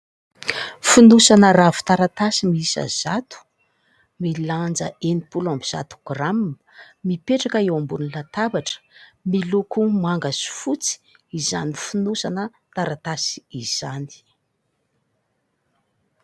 Fonosana ravin-taratasy miiisa zato, milanja enim-polo amby zato grama. Mipetraka eo ambonin'ny latabatra miloko manga sy fotsy izany fonosana taratasy izany.